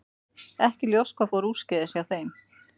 Ekki er ljóst hvað fór úrskeiðis hjá þeim.